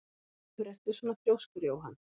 Af hverju ertu svona þrjóskur, Jóann?